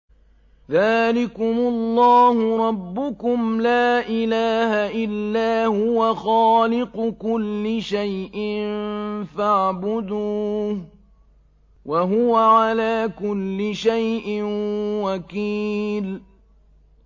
ذَٰلِكُمُ اللَّهُ رَبُّكُمْ ۖ لَا إِلَٰهَ إِلَّا هُوَ ۖ خَالِقُ كُلِّ شَيْءٍ فَاعْبُدُوهُ ۚ وَهُوَ عَلَىٰ كُلِّ شَيْءٍ وَكِيلٌ